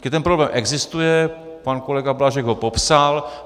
Prostě ten problém existuje, pan kolega Blažek ho popsal.